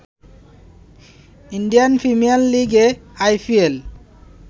Indian Premier লিগে IPL